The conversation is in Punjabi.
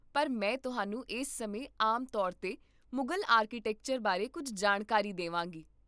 ਪਰ ਮੈਂ ਤੁਹਾਨੂੰ ਇਸ ਸਮੇਂ ਆਮ ਤੌਰ 'ਤੇ ਮੁਗਲ ਆਰਕੀਟੈਕਚਰ ਬਾਰੇ ਕੁੱਝ ਜਾਣਕਾਰੀ ਦੇਵਾਂਗੀ